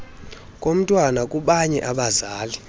komntwana kubanye abazali